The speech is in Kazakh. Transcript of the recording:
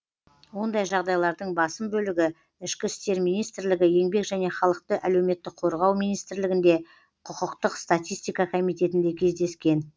ондай жағдайлардың басым бөлігі ішкі істер министрлігі еңбек және халықты әлеуметтік қорғау министрлігінде құқықтық статистика комитетінде кездескен